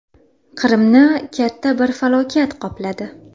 Qrimni katta bir falokat qopladi.